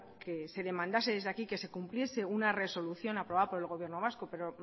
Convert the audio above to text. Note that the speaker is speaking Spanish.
que se demandase desde aquí que se cumpliese una resolución aprobada por el gobierno vasco pero